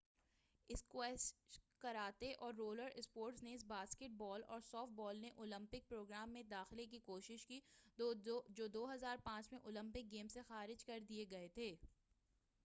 اسکوسیش karate اور roller sports نیز basketball اور سافٹ بال نے اولیمپک پروگرام میں داخلہ کی کوشش کی جو 2005 میں اولیمپک گیمس سے خارج کر دئے گئے تھے